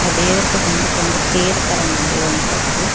ದೇವರದು ಬಂದ್ಬಿಟ್ಟು ಒಂದು ತೇರು ತರ ಮಾಡಿರುವಂತದ್ದು.